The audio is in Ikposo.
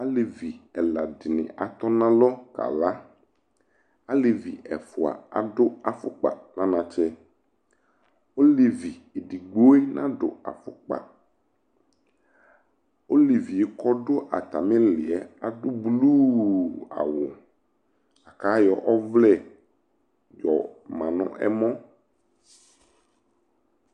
Alevi ɛla di ni atɔ na lɔ kala Alevi ɛfua adʋ afʋkpa nʋ anatsɛ Olevi edigbo yɛ nadʋ afʋkpa Olevi kɔ dʋ atami iyili ɛ adʋ bluu awʋ la kʋ ayɔ ɔvlɛ yɔma n'alɔ